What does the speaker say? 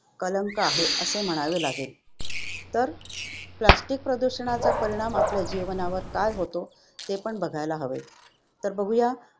कलंक आहे असे म्हणावे लागेल. तर Plastic प्रदूषणाचा परिणाम आपल्या जीवनावर काय होतो ते पण बघायला हवे, तर बघूया